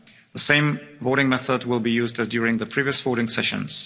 The same voting method will be used as during the previous voting sessions.